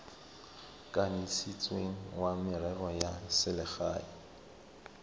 kanisitsweng wa merero ya selegae